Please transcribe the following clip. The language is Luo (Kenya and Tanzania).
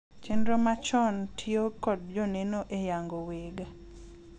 chenro machon tiyo kod joneno e yango weg